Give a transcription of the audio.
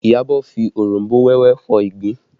Iyabọ̀ fi oronbo wẹ́wẹ́ fọ ìgbín